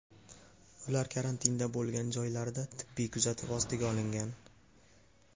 Ular karantinda bo‘lgan joylarida tibbiy kuzatuv ostiga olingan.